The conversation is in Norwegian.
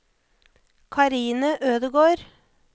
Karine Ødegård